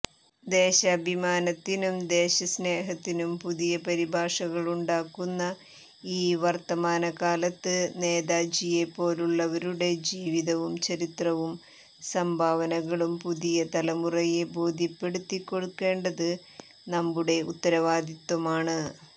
ദേശാഭിമാനത്തിനും ദേശസ്നേഹത്തിനും പുതിയ പരിഭാഷകളുണ്ടാക്കുന്ന ഈ വർത്തമാനകാലത്ത് നേതാജിയെപ്പോലുള്ളവരുടെ ജീവിതവും ചരിത്രവും സംഭാവനകളും പുതിയ തലമുറയെ ബോധ്യപ്പെടുത്തിക്കൊടുക്കേണ്ടത് നമ്മുടെ ഉത്തരവാദിത്വമാണ്